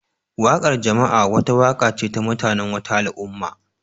Wakar jama'a wata waka ce ta mutanen wata al'umma